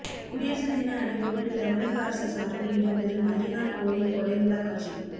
குடியரசு தின அணிவகுப்பில் தமிழக அரசு சார்பில் இடம் பெறும் அய்யனார் கோவில் கொடை விழா காட்சி